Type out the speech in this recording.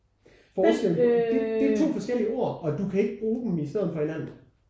Forskellen det det er to forskellige ord og du kan ikke bruge dem i stedet for hinanden